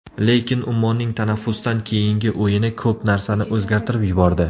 Lekin Ummonning tanaffusdan keyingi o‘yini ko‘p narsani o‘zgartirib yubordi.